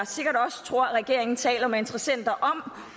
tror at regeringen taler med interessenter om